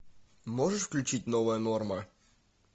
можешь включить новая норма